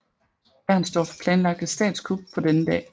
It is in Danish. Bernstorff planlagt et statskup på denne dag